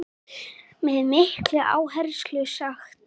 Það finnst mér líka.